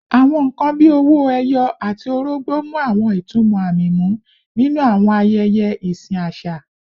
Awọn nkan bii owo eyi ati orogbo mu awọn itumọ aami mu ninu awọn ayẹyẹ isin aṣa